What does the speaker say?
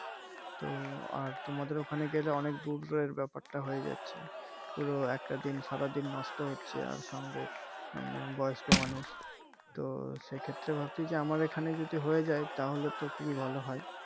তো আর তোমাদের ওখানে গেলে অনেক দূরের ব্যাপারটা হয়ে যাচ্ছে পুরো একটা দিন সারাদিন নষ্ট হচ্ছে আর সঙ্গে উম বয়স্ক মানুষ তো সে ক্ষেত্রে ভাবছি যে আমার এখানে যদি হয়ে যায় তাহলে তো খুবই ভালো হয়